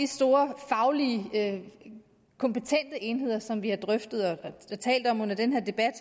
store fagligt kompetente enheder som vi har talt om under den her debat